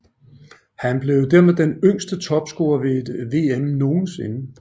Han blev dermed den yngste topscorer ved et VM nogensinde